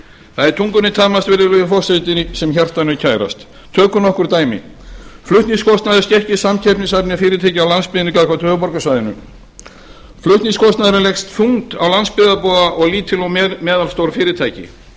það er tungunni tamast virðulegi forseti sem hjartanu er kærast tökum nokkur dæmi flutningskostnaður skekkir samkeppnishæfni fyrirtækja á landsbyggðinni gagnvart höfuðborgarsvæðinu flutningskostnaðurinn leggst þungt á landsbyggðarbúa og lítil og meðalstór fyrirtæki